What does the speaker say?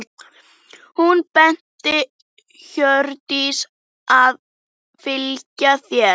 Hún benti Hjördísi að fylgja sér.